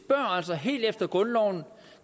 altså helt efter grundloven om